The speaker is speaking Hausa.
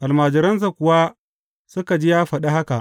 Almajiransa kuwa suka ji ya faɗi haka.